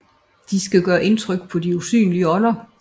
De skal gøre indtryk på de usynlige ånder